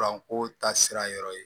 ko ta sira yɔrɔ ye